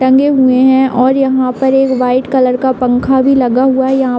टंगे हुए हैं और यहाँ पर एक व्हाइट कलर का पंखा भी लगा हुआ है। यहाँ --